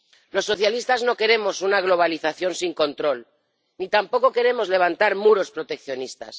Los socialistas no queremos una globalización sin control ni tampoco queremos levantar muros proteccionistas.